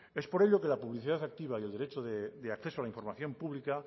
es por ello que la publicidad activa y el derecho de acceso a la información pública